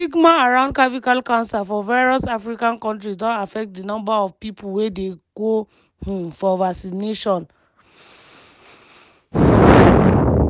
but stigma around cervical cancer for various african kontris don affect di numbers of pipo wey dey go um for vaccination.